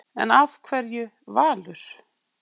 En af hverju Valur?